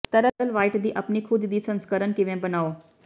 ਤਰਲ ਵ੍ਹਾਈਟ ਦੀ ਆਪਣੀ ਖੁਦ ਦੀ ਸੰਸਕਰਣ ਕਿਵੇਂ ਬਣਾਉ